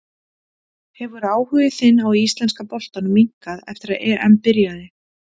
Hefur áhugi þinn á íslenska boltanum minnkað eftir að EM byrjaði?